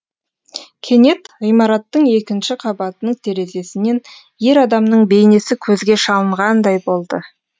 кенет ғимараттың екінші қабатының терезесінен ер адамның бейнесі көзге шалынғандай болды